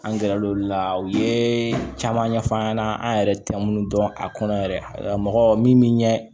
An gɛrɛ l'o la u ye caman ɲɛfɔ'an ɲɛna an yɛrɛ tɛ minnu dɔn a kɔnɔ yɛrɛ mɔgɔ min bɛ ɲɛ